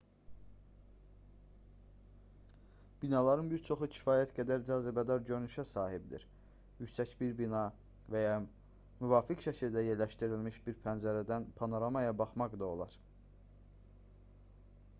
binaların bir çoxu kifayət qədər cazibədar görünüşə sahibdir yüksək bir bina və ya müvafiq şəkildə yerləşdirilmiş bir pəncərədən panoramaya baxmaq olar